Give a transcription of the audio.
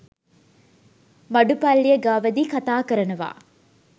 මඩු පල්ලිය ගාවදී කථා කරනවා.